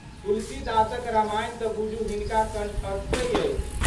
तुलसीदासक रामायण तऽ बुझू हिनका कणठस्थहि अछि।